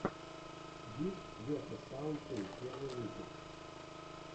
гифтс весос саунд ту первый выпуск